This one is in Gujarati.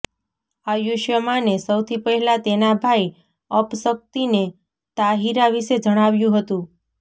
આયુષ્માને સૌથી પહેલા તેના ભાઈ અપશક્તિને તાહિરા વિશે જણાવ્યું હતું